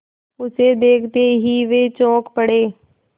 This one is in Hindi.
उसे देखते ही वे चौंक पड़े